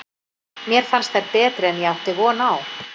Mér fannst þær betri en ég átti von á.